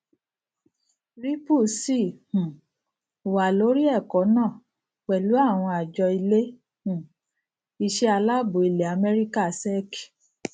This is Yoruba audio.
ripple sì um wà lórí ẹkọ náà pẹlú àwọn àjọ ilé um iṣẹ aláàbò ilẹ amẹríkà sec